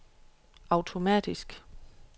automatisk